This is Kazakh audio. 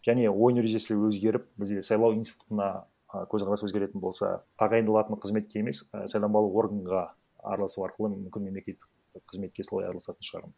және ойын ережесі өзгеріп бізде сайлау институтына а көзқарас өзгеретін болса тағайындалатын қызметке емес а сайланбалы органға араласу арқылы мүмкін мемлекеттік қызметке солай араласатын шығармын